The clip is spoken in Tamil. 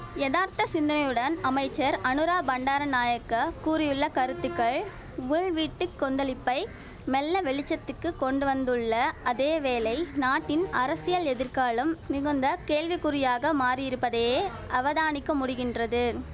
யதார்த்த சிந்தனையுடன் அமைச்சர் அநுரா பண்டார நாயக்க கூறியுள்ள கருத்துக்கள் உள் வீட்டு கொந்தளிப்பை மெல்ல வெளிச்சத்துக்கு கொண்டுவந்துள்ள அதேவேளை நாட்டின் அரசியல் எதிர்காலம் மிகுந்த கேள்விக்குறியாக மாறியிருப்பதே அவதானிக்க முடிகின்றது